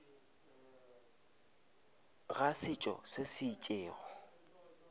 ga setšo se se itšego